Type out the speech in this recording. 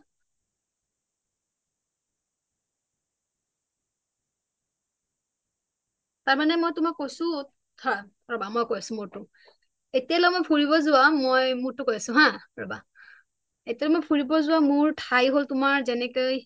তাৰ মানে মই তোমাক কৈছোঁ ধৰা মই কৈ আছোঁ মোৰটো এতিয়ালে মই ফুৰিব যোৱা মই মোৰটো কয় আছোঁ হা এতিয়ালে মই ফুৰিব যোৱা ঠাই হল তোমাৰ যেনেকে